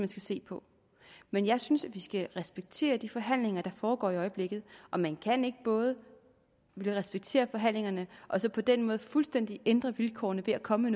skal se på men jeg synes at vi skal respektere de forhandlinger der foregår i øjeblikket og man kan ikke både ville respektere forhandlingerne og så på den måde fuldstændig ændre vilkårene ved at komme